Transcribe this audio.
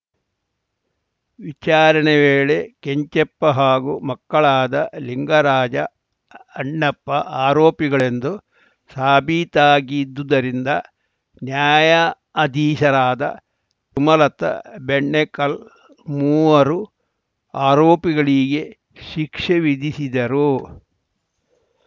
ವಿಚಾರಣೆ ವೇಳೆ ಕೆಂಚಪ್ಪ ಹಾಗೂ ಮಕ್ಕಳಾದ ನಿಂಗರಾಜ ಅಣ್ಣಪ್ಪ ಆರೋಪಿಗಳೆಂದು ಸಾಬೀತಾಗಿದ್ದುದ್ದರಿಂದ ನ್ಯಾಯಾಅಧೀಶರಾದ ಸುಮಲತಾ ಬೆಣ್ಣೆಕಲ್‌ ಮೂವರೂ ಆರೋಪಿಗಳಿಗೆ ಶಿಕ್ಷೆ ವಿಧಿಸಿದರು